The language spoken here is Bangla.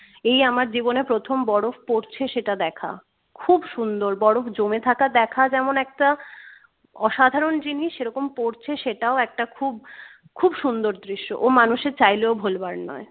এই আমার জীবনে প্রথম বরফ পড়ছে সেটা দেখা খুব সুন্দর বরফ জমে থাকা দেখা যেমন একটা অসাধারণ জিনিস সেরকম পড়ছে সেটাও একটা খুব খুব সুন্দর দৃশ্য ও মানুষে চাইলেও ভোলবার নয়